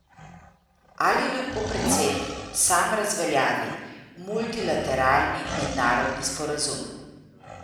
Ali lahko predsednik sam razveljavi multilateralni mednarodni sporazum?